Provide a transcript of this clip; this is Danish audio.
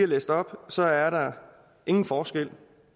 læst op så er der ingen forskel